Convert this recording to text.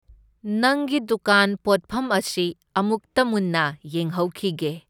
ꯅꯪꯒꯤ ꯗꯨꯀꯥꯟ ꯄꯣꯠꯐꯝ ꯑꯁꯤ ꯑꯃꯨꯛꯇ ꯃꯨꯟꯅ ꯌꯦꯡꯍꯧꯈꯤꯒꯦ꯫